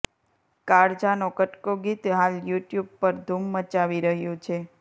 કાળજા નો કટકો ગીત હાલ યુટ્યુબ પર ધૂમ મચાવી રહ્યું છે